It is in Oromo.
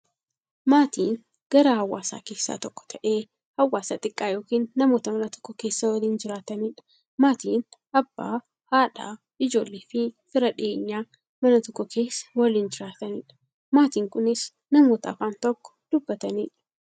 Maatiin garaa hawaasaa keessaa tokko ta'ee, hawaasa xiqqaa yookin namoota Mana tokko keessaa waliin jiraataniidha. Maatiin Abbaa, haadha, ijoolleefi fira dhiyeenyaa, Mana tokko keessaa waliin jiraataniidha. Maatiin kunnis, namoota afaan tokko dubbataniidha.